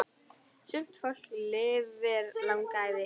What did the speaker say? Sumt fólk lifir langa ævi.